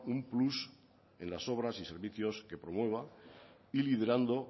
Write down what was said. un plus en las obras y servicios que promueva y liderando